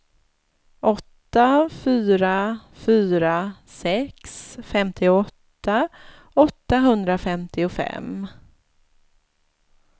åtta fyra fyra sex femtioåtta åttahundrafemtiofem